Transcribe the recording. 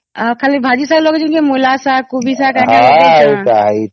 ଆଉ ଖାଲି ଭାଜି ଶାଗ ଲଗେଇଛନ୍ତି କି ମୂଳା ଶାଗ କୋବି ଶାଗ ଲଗେଇଛନ